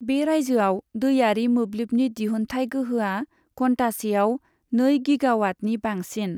बे रायजोआव दैआरि मोब्लिबनि दिहुन्थाय गोहोआ घन्टासेआव नै गीगावाटनि बांसिन।